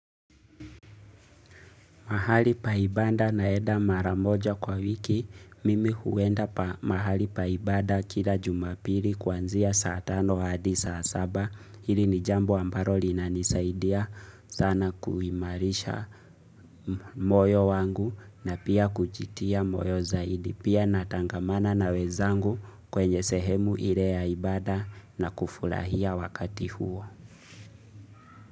Mahali pa ibada naenda mara moja kwa wiki, mimi huenda mahali pa ibada kila jumapili kuanzia saa tano hadi saa saba. Hili ni jambo ambalo linanisaidia sana kuimarisha moyo wangu na pia kujitia moyo zaidi. Pia natangamana na wenzangu kwenye sehemu ile ya ibada na kufurahia wakati huo.